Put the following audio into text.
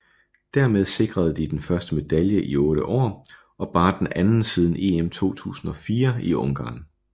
Dermed sikrede de den første medalje i 8 år og bare den anden siden EM 2004 i Ungarn